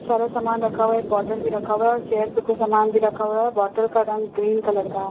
सारा समान रखा हुआ एक बोटल भी रखा हुआ है और चेयर पे कुछ समान भी रखा हुआ है बोटल का रंग ग्रीन कलर का --